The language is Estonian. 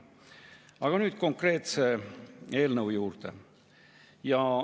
Aga nüüd konkreetse eelnõu juurde.